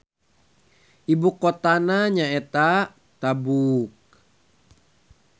Ibu kotana nyaeta Tabuk.